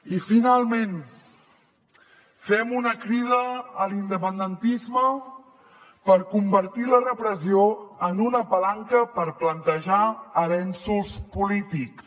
i finalment fem una crida a l’independentisme per convertir la repressió en una palanca per plantejar avenços polítics